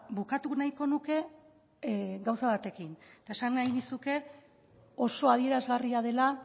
bukatu nahiko nuke gauza batekin eta esan nahi nizuke oso adierazgarria dela